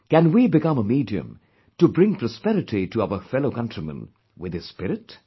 Can we become a medium to bring prosperity to our fellow countrymen with this spirit